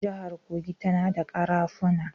Jihar Kogi tana da ƙarafuna.